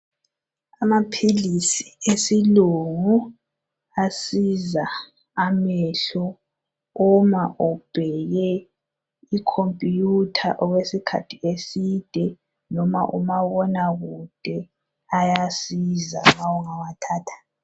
Amaphilisi esilungu asiza amehlo uma ubheke ikhompiyutha okwesikhathi eside noma umabonakude, ayasiza nxa ungawathatha.